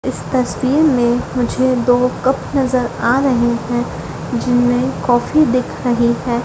इस तस्वीर में मुझे दो कप नजर आ रहे है जिनमें कॉफी दिख रही है।